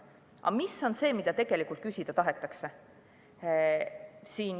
Aga mis on see, mida tegelikult küsida tahetakse?